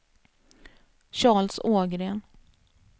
Charles Ågren